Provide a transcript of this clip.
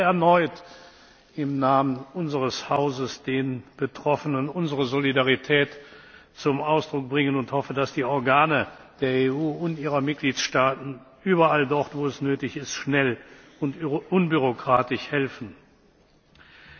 Ich möchte erneut im Namen unseres Hauses den Betroffenen unsere Solidarität zum Ausdruck bringen und hoffe, dass die Organe der EU und ihrer Mitgliedstaaten überall dort, wo es nötig ist, schnell und unbürokratisch helfen. Meine Damen und Herren!